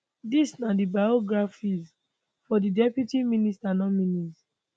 dis na di biographies for di deputy minister nominees